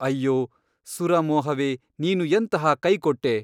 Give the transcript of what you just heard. ಅಯ್ಯೋ ಸುರಾ ಮೋಹವೇ ನೀನು ಎಂತಹ ಕೈಕೊಟ್ಟೆ !